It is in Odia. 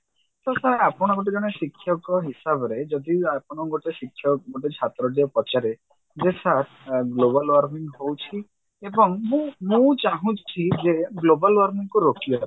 ତ sir ଆପଣ ଗୋଟେ ଜଣେ ଶିକ୍ଷକ ହିସାବରେ ଯଦି ଆପଣ ଗୋଟେ ଶିକ୍ଷକ ଗୋଟେ ଛାତ୍ର ଯଉ ପଚାରେ ଯେ sir global warming ହଉଛି ଏବଂ ମୁଁ ମୁଁ ଚାହୁଁଛି ଯେ global warming କୁ ରୋକିବା ପାଇଁ